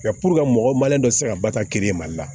Nka puruke ka mɔgɔ malen dɔ tɛ se ka batini mali la